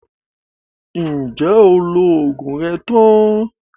Ǹjẹ́ o lo oògùn rẹ tán?